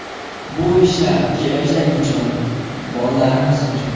Bu ishlar kelajak uchun, bolalarimiz uchun.